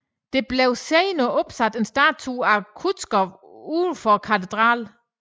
Der blev senere opsat en statue af Kutuzov udenfor katedralen